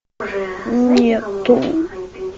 нету